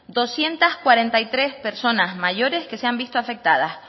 doscientos cuarenta y tres personas mayores que se han visto afectadas